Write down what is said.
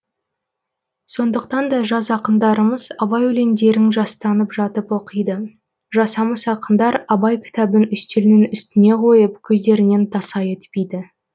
сондықтан да жас ақындарымыз абай өлеңдерін жастанып жатып оқиды жасамыс ақындар абай кітабын үстелінің үстіне қойып көздерінен таса етпейді